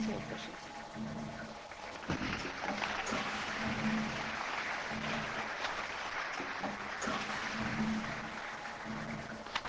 Vielen Dank, Frau Ratspräsidentin! Bevor ich dem Präsidenten der Kommission das Wort gebe, liebe Kolleginnen und Kollegen, habe ich eine